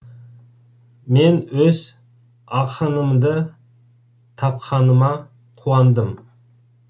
мен өз ақынымды тапқаныма қуандым